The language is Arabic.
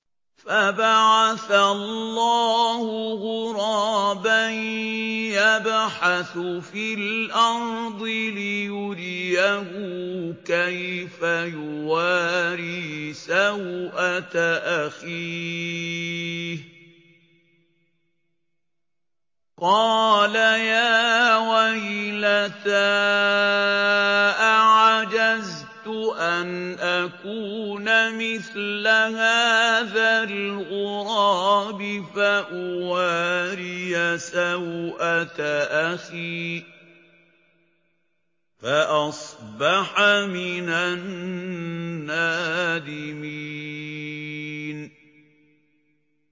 فَبَعَثَ اللَّهُ غُرَابًا يَبْحَثُ فِي الْأَرْضِ لِيُرِيَهُ كَيْفَ يُوَارِي سَوْءَةَ أَخِيهِ ۚ قَالَ يَا وَيْلَتَا أَعَجَزْتُ أَنْ أَكُونَ مِثْلَ هَٰذَا الْغُرَابِ فَأُوَارِيَ سَوْءَةَ أَخِي ۖ فَأَصْبَحَ مِنَ النَّادِمِينَ